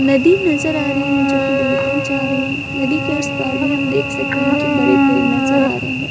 नदी नजर आ रही है जोकि दूर तक जा रही है नदी के उस पार भी हम देख सकते है की बड़े पेड़ नजर आ रहे है।